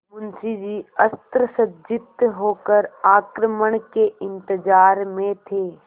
मुंशी जी अस्त्रसज्जित होकर आक्रमण के इंतजार में थे